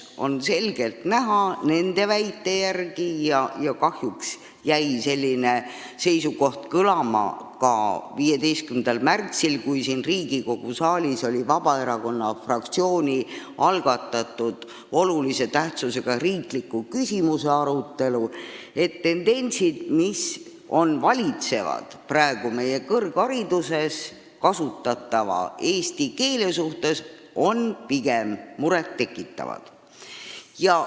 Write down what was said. Nende väite järgi on selgelt näha – kahjuks jäi selline seisukoht kõlama ka 15. märtsil, kui siin Riigikogu saalis oli Vabaerakonna fraktsiooni algatatud olulise tähtsusega riikliku küsimuse arutelu –, et praegu meie kõrghariduses kasutatava eesti keele suhtes valitsevad tendentsid on pigem murettekitavad.